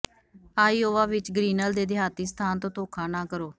Iowa ਵਿੱਚ Grinnell ਦੇ ਦਿਹਾਤੀ ਸਥਾਨ ਤੋਂ ਧੋਖਾ ਨਾ ਕਰੋ